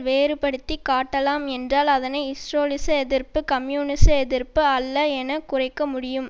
வேறுபடுத்தி காட்டலாம் என்றால் அதனை ஸ்ரோலினிச எதிர்ப்பு கம்யூனிச எதிர்ப்பு அல்ல என குறைக்க முடியும்